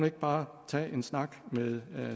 ikke bare tage en snak med